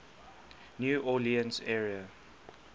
new orleans area